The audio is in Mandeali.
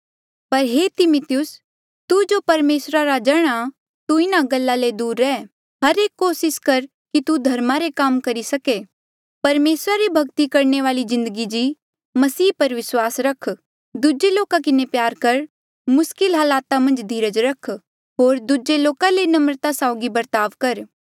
पर हे तिमिथियुस तू जो परमेसरा रा जण आ तू इन्हा गल्ला ले दूर रेह हर एक कोसिस कर कि तू धर्मा रे काम करी सके परमेसरा री भक्ति करणे वाली जिन्दगी जी मसीह पर विस्वास रख दूजे लोका किन्हें प्यार कर मुस्किल हालात मन्झ धीरज रख होर दूजे लोका ले नम्रता साउगी बर्ताव कर